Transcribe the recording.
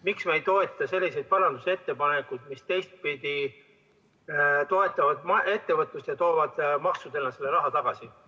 Miks me ei toeta selliseid parandusettepanekuid, mis ühtpidi toetavad ettevõtlust ja teistpidi toovad maksudena selle raha tagasi?